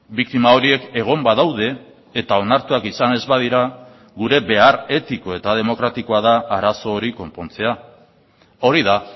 biktima horiek egon badaude eta onartuak izan ez badira gure behar etiko eta demokratikoa da arazo hori konpontzea hori da